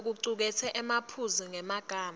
locuketse emaphuzu ngemagama